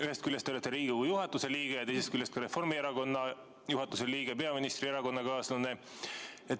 Ühest küljest te olete Riigikogu juhatuse liige ja teisest küljest ka Reformierakonna juhatuse liige, peaministri erakonnakaaslane.